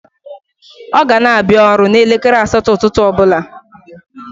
O gana abia oru n'elekere asato ututu obula